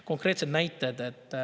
Konkreetsed näited.